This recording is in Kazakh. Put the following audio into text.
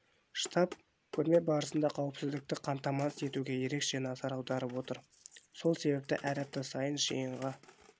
штаб көрме барысында қауіпсіздікті қамтамасыз етуге ерекше назар аударып отыр сол себепті әр апта сайын жиынға